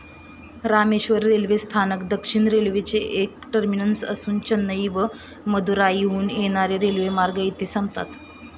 Rameswaram railway स्थानक दक्षिण रेल्वेचे एक टर्मिनस असून चेन्नई व मदुराईहून येणारे रेल्वेमार्ग येथे संपतात.